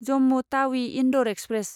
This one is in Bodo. जम्मु टावि इन्दौर एक्सप्रेस